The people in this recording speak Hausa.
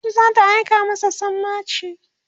kotu zata aika masa sammaci